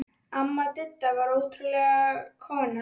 Amma Didda var ótrúleg kona.